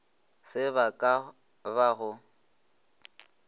se ba ka ba go